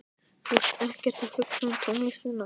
Þú ert ekkert að hugsa um tónlistina.